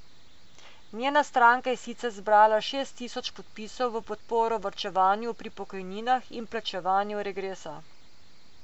Njena stranka je sicer zbrala šest tisoč podpisov v podporo varčevanju pri pokojninah in plačevanju regresa.